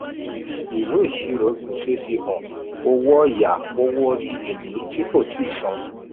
ìwé ìṣirò gbèsè fi hàn owó ọ̀yà owó orí èlé tí kò tíi san.